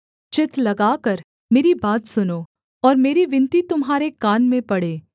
चित्त लगाकर मेरी बात सुनो और मेरी विनती तुम्हारे कान में पड़े